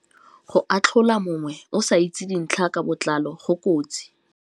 Go atlhola mongwe o sa itse dintlha ka botlalo go kotsi.